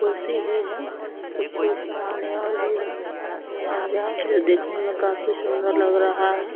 कुर्सी भी है। कुछ सामानें और भी हैं। औजार है। देखने में काफी सुन्दर लग रहा है।